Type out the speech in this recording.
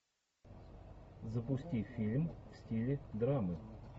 запусти фильм в стиле драмы